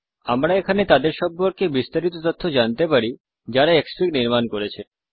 আমরা এখানে তাদের সম্পর্কে বিস্তারিত তথ্য জানতে পারি যারা ক্সফিগ নির্মান করেছে